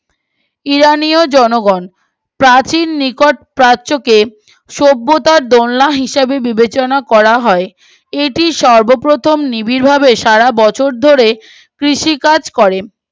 ইরানীয় জনগণ প্রাচীন নিকট প্রাচ্য কে সভ্যতার দোলনা হিসাবে বিবেচনা করা হয় এটি সর্বপ্রথম নিবিড় ভাবে সারা বছর ধরে কৃষিকাজ করে